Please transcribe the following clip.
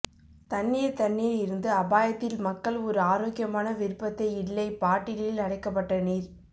தண்ணீர் தண்ணீர் இருந்து அபாயத்தில் மக்கள் ஒரு ஆரோக்கியமான விருப்பத்தை இல்லை பாட்டிலில் அடைக்கப்பட்ட நீர்